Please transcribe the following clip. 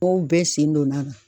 bɛɛ sen donna a la.